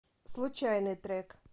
случайный трек